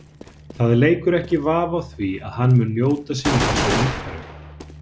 Það leikur ekki vafi á því að hann mun njóta sín í þessu umhverfi.